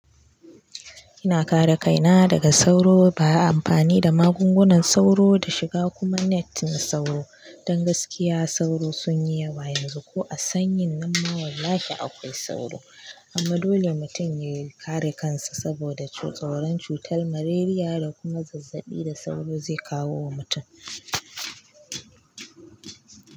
Ina kare kaina daga sauro ba a amfani da magungunan sauro da shiga kuma net na sauro. Don gaskiya sauro sun yi yawa yanzu ko a sanyin nan ma wallahi akwai sauro. Amma dole mutum ya kare kansa saboda tsoran cutar malaria da kuma zazzaɓi da sauro zai kawo wa mutum.